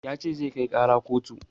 Ya ce zai kai ƙara kotu